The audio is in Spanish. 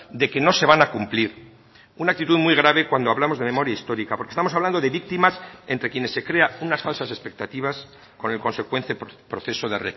de que no se van a cumplir una actitud muy grave cuando hablamos de memoria histórica porque estamos hablando de víctimas entre quienes se crea unas falsas expectativas con el consecuente proceso de